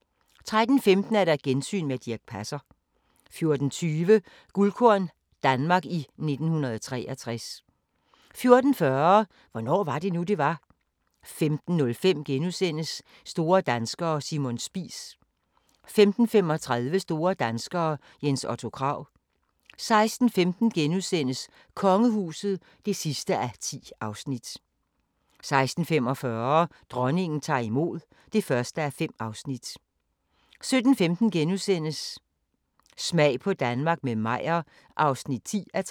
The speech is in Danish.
* 13:15: Gensyn med Dirch Passer 14:20: Guldkorn - Danmark i 1963 14:40: Hvornår var det nu, det var? 15:05: Store danskere - Simon Spies * 15:35: Store Danskere – Jens Otto Krag 16:15: Kongehuset (10:10)* 16:45: Dronningen tager imod (1:5) 17:15: Smag på Danmark – med Meyer (10:13)*